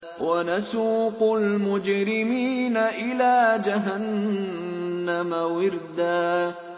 وَنَسُوقُ الْمُجْرِمِينَ إِلَىٰ جَهَنَّمَ وِرْدًا